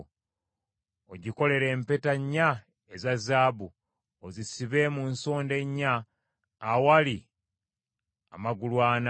Ogikolere empeta nnya eza zaabu, ozisibe mu nsonda ennya awali amagulu ana.